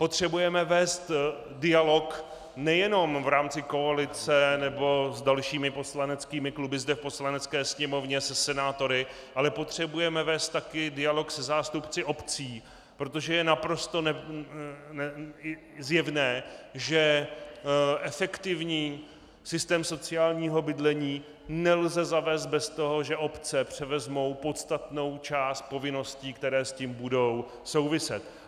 Potřebujeme vést dialog nejenom v rámci koalice nebo s dalšími poslaneckými kluby zde v Poslanecké sněmovně, se senátory, ale potřebujeme vést také dialog se zástupci obcí, protože je naprosto zjevné, že efektivní systém sociálního bydlení nelze zavést bez toho, že obce převezmou podstatnou část povinností, které s tím budou souviset.